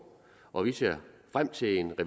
og vi ser frem til en